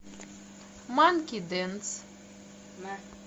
манки дэнс